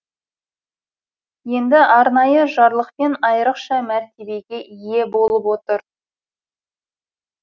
енді арнайы жарлықпен айрықша мәртебеге ие болып отыр